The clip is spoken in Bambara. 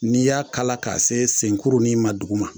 N'i y'a kala k'a se senkurunin ma duguma